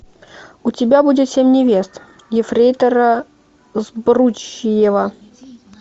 у тебя будет семь невест ефрейтора збруева